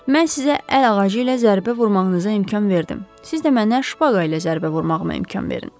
Mən sizə əl ağacı ilə zərbə vurmağınıza imkan verdim, siz də mənə şpaqa ilə zərbə vurmağa imkan verin.